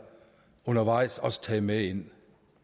undervejs også taget med ind